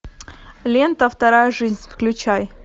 лента вторая жизнь включай